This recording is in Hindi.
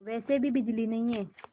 वैसे भी बिजली नहीं है